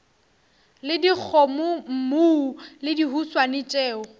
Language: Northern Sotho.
le dikgomommuu le dihuswane tšeo